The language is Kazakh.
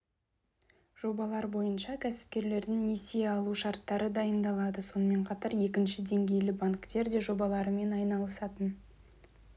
жобалар бойынша кәсіпкерлердің несие алу шарттары дайындалады сонымен қатар екінші деңгейлі банктер де жобаларымен айналысатын